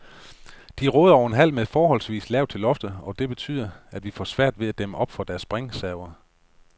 De råder over en hal med forholdsvis lavt til loftet, og det betyder, at vi får svært ved at dæmme op for deres springserver.